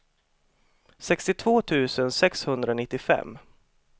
sextiotvå tusen sexhundranittiofem